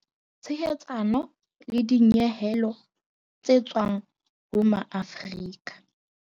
Tshehetsano le dinyehelo tse tswang ho Maafrika